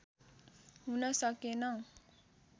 हुन सकेन